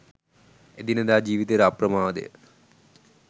එදිනෙදා ජීවිතයට අප්‍රමාදය